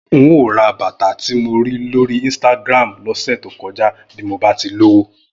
N óò ra bàtà tí mo rí lórí Instagram lọ́sẹ̀ tó kọjá bí mo bá ti lówó